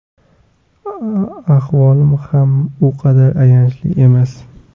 Ahvolim ham u qadar ayanchli emas.